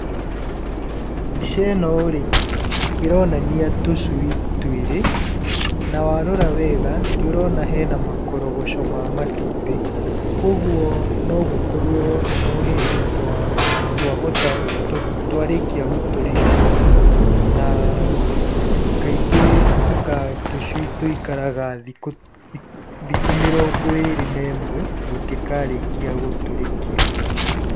Mbica ĩno rĩ, ĩronania tũcui twĩrĩ, na warora wega, nĩ ũrona hena makorogoco ma matumbĩ, kuũguo no gũkorwo no hĩndĩ twa, twahota, twarĩkia gũtũrĩkio. Na kaingĩ anga tũcui tũikaraga thikũ, thikũ mĩringo ĩrĩ na ĩmwe tũngĩkarĩkia gũtũrĩkio.